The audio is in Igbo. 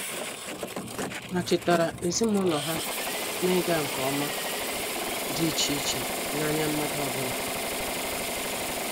Ha chetara ezimụlọ ha na-ịga nke ọma dị iche iche n'anya mmadụ ọbụla.